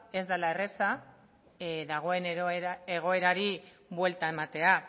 ez dela erreza dagoen egoerari buelta ematea